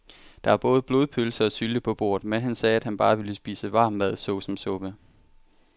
Der var både blodpølse og sylte på bordet, men han sagde, at han bare ville spise varm mad såsom suppe.